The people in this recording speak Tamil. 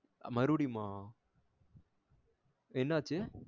மருவுடியுமா என்ன ஆச்சி?